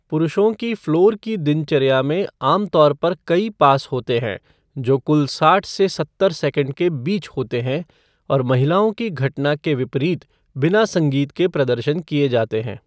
पुरुषों की फ़्लोर की दिनचर्या में आमतौर पर कई पास होते हैं जो कुल साठ से सत्तर सेकंड के बीच होते हैं और महिलाओं की घटना के विपरीत बिना संगीत के प्रदर्शन किए जाते हैं।